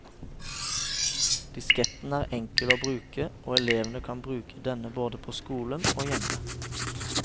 Disketten er enkel å bruke, og elevene kan bruke denne både på skolen og hjemme.